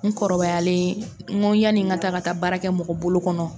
N kɔrɔbayalen n ko yani n ka taa ka taa baarakɛ mɔgɔ bolo kɔnɔ